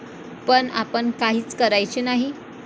पण आपण काहीच करायचे नाही.